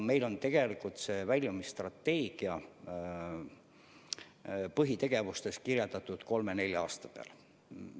Meil on tegelikult väljumisstrateegia põhitegevused kavandatud kolme-nelja aasta peale.